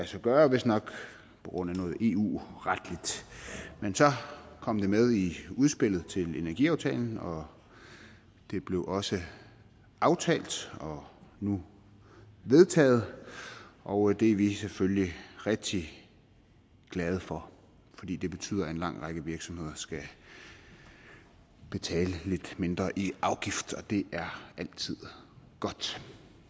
sig gøre vistnok på grund af noget eu retligt men så kom det med i udspillet til energiaftalen og det blev også aftalt og nu vedtaget og det er vi selvfølgelig rigtig glade for fordi det betyder at en lang række virksomheder skal betale lidt mindre i afgift og det er altid godt